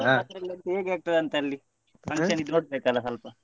ಹೇಗಾಗ್ತದಂತ ಅಲ್ಲಿ function ದ್ದು ನೋಡ್ಬೇಕಲ್ವ ಸ್ವಲ್ಪ.